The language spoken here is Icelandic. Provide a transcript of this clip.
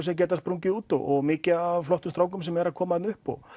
sem geta sprungið út og mikið af flottum strákum sem eru að koma þarna upp og